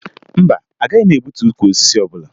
Mba, agaghị m egbutu ukwu osisi ọbụla